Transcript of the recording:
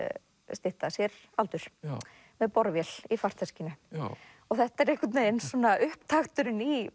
stytta sér aldur með borvél í farteskinu þetta er einhvern veginn svona upptakturinn í